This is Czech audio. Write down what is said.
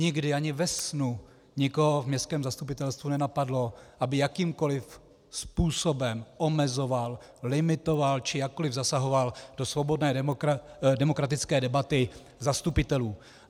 Nikdy ani ve snu nikoho v městském zastupitelstvu nenapadlo, aby jakýmkoliv způsobem omezoval, limitoval či jakkoliv zasahoval do svobodné demokratické debaty zastupitelů.